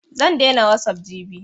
Zan daina wasup jibi.